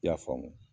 I y'a faamu